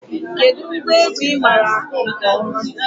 Kedụ ngwa egwu ị maara akụ nke ọma?